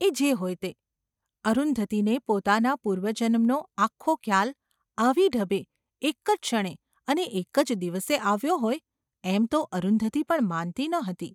એ જે હોય તે, અરુંધતીને પોતાના પૂર્વજન્મનો આખો ખ્યાલ આવી ઢબે એક જ ક્ષણે અને એક જ દિવસે આવ્યો હોય એમ તો અરુંધતી પણ માનતી ન હતી.